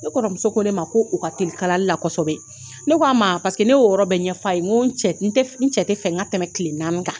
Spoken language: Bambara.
Ne kɔrɔmuso ko ne ma ko u ka teli kalali la kosɛbɛ ,ne k'a ma paseke ne ye o yɔrɔ bɛ ɲɛ f'a ye, n ko n cɛ tɛ fɛ n ka tɛmɛ tile naani kan, !